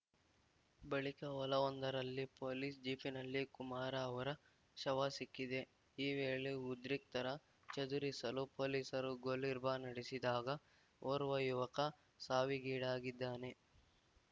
ಬಳಿಕ ಹೊಲವೊಂದರಲ್ಲಿ ಪೊಲೀಸ್‌ ಜೀಪಿನಲ್ಲಿ ಕುಮಾರ ಅವರ ಶವ ಸಿಕ್ಕಿದೆ ಈ ವೇಳೆ ಉದ್ರಿಕ್ತರ ಚದುರಿಸಲು ಪೊಲೀಸರು ಗೋಲಿರ್ಬಾ ನಡೆಸಿದಾಗ ಓರ್ವ ಯುವಕ ಸಾವಿಗೀಡಾಗಿದ್ದಾನೆ